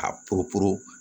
A porob